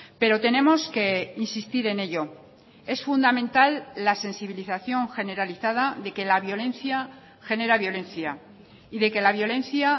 pero tenemos que insistir en ello es fundamental la sensibilización generalizada de que la violencia genera violencia y de que la violencia